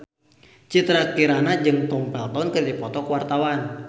Citra Kirana jeung Tom Felton keur dipoto ku wartawan